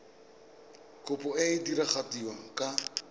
kopo e e diragadiwa ka